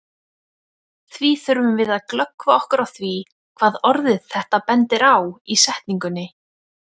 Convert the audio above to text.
Því þurfum við að glöggva okkur á því hvað orðið þetta bendir á í setningunni.